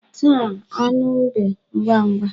Taa anụ mbe ngwangwa.